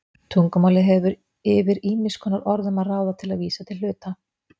Tungumálið hefur yfir ýmiss konar orðum að ráða til að vísa til hluta.